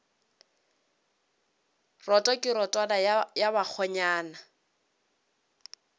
roto ke rotwane ya bakgonyana